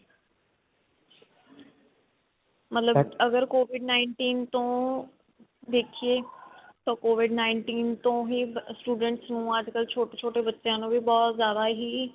ਮਤਲਬ covid nineteen ਤੋਂ ਦੇਖੀਏ ਤਾਂ covid nineteen ਤੋਂ ਹੀ student ਨੂੰ ਅੱਜਕਲ ਛੋਟੇ ਛੋਟੇ ਬੱਚਿਆਂ ਨੂੰ ਵੀ ਬਹੁਤ ਜ਼ਿਆਦਾ ਹੀ